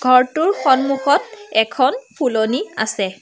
ঘৰটোৰ সন্মুখত এখন ফুলনি আছে।